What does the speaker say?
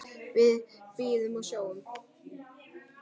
Við bíðum og sjáum.